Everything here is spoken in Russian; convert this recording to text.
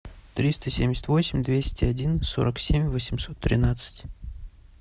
триста семьдесят восемь двести один сорок семь восемьсот тринадцать